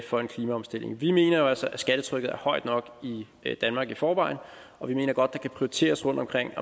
for en klimaomstilling vi mener jo altså at skattetrykket er højt nok i danmark i forvejen og vi mener godt at der kan prioriteres rundtomkring